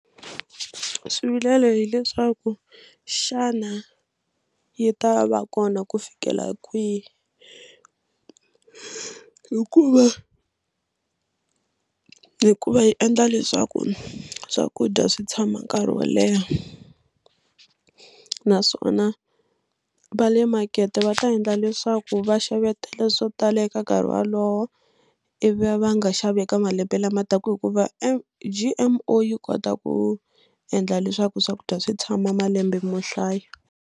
Swivilelo hileswaku xana yi ta va kona ku fikela kwihi hikuva hikuva yi endla leswaku swakudya swi tshama nkarhi wo leha naswona va le makete va ta endla leswaku vaxavetele swo tala eka nkarhi wolowo ivi va va nga xavi eka malembe lama taka hikuva G_M_O yi kota ku endla leswaku swakudya swi tshama malembe mo hlaya.